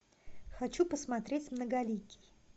хочу посмотреть многоликий